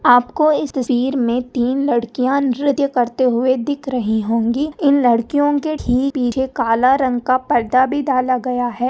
आप को इस तस्वीर मे तीन लड़कियाँ नृत्य करते हुए दिख रही होंगी इन लड्कीयों के ठीक पीछे एक काला रंग का परदा भी डाला गया है।